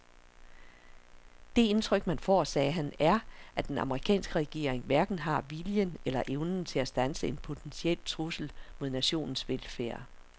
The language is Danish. Det indtryk man får, sagde han, er at den amerikanske regering hverken har viljen eller evnen til at standse en potentiel trussel mod nationens velfærd.